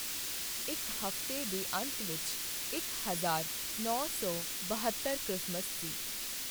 ਇਕ ਹਫ਼ਤੇ ਦੇ ਅੰਤ ਵਿਚ ਇੱਕ ਹਜ਼ਾਰ ਨੌਂ ਸੌ ਬਹੱਤਰ ਕ੍ਰਿਸਮਸ ਸੀ।